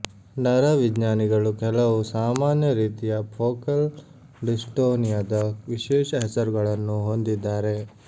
ನರವಿಜ್ಞಾನಿಗಳು ಕೆಲವು ಸಾಮಾನ್ಯ ರೀತಿಯ ಫೋಕಲ್ ಡಿಸ್ಟೊನಿಯದ ವಿಶೇಷ ಹೆಸರುಗಳನ್ನು ಹೊಂದಿದ್ದಾರೆ